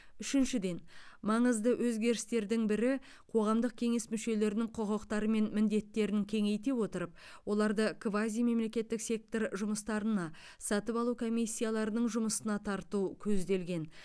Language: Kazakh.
үшіншіден маңызды өзгерістердің бірі қоғамдық кеңес мүшелерінің құқықтары мен міндеттерін кеңейте отырып оларды квазимемлекеттік сектор жұмыстарына сатып алу комиссияларының жұмысына тарту көзделген